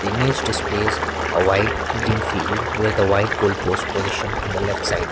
image displays a wide green field with a white goal post position on the left side.